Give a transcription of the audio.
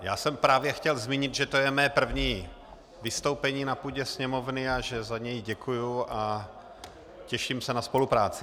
Já jsem právě chtěl zmínit, že to je mé první vystoupení na půdě Sněmovny a že za něj děkuji a těším se na spolupráci.